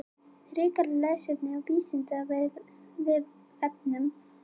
Frekara lesefni á Vísindavefnum: Af hverju eru eldfjöll á Ítalíu?